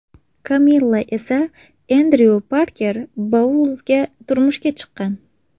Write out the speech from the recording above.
Kamilla esa Endryu Parker-Boulzga turmushga chiqqan.